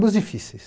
Ambos difíceis.